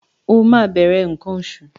O máa bẹ̀rẹ̀ nǹkan oṣù.